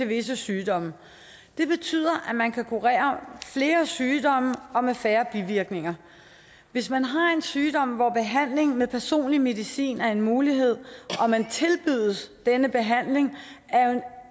visse sygdomme det betyder at man kan kurere flere sygdomme og med færre bivirkninger hvis man har en sygdom hvor behandlingen med personlig medicin er en mulighed og man tilbydes denne behandling er